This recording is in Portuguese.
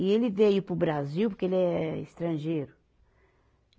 E ele veio para o Brasil porque ele é estrangeiro.